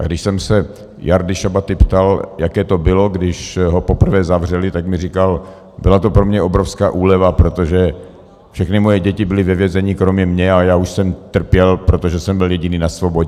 A když jsem se Jardy Šabaty ptal, jaké to bylo, když ho poprvé zavřeli, tak mi říkal: Byla to pro mě obrovská úleva, protože všechny moje děti byly ve vězení kromě mě a já už jsem trpěl, protože jsem byl jediný na svobodě.